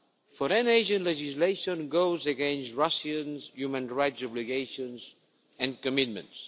Foreign agent' legislation goes against Russia's human rights obligations and commitments.